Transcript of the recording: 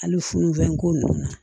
Hali funufenko nunnu na